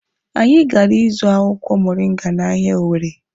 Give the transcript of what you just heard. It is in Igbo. Anyị gara ịzụ akwụkwọ moringa n'ahịa Owere.